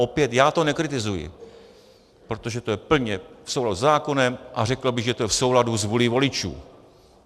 Opět, já to nekritizuji, protože to je plně v souladu se zákonem a řekl bych, že to je v souladu s vůlí voličů.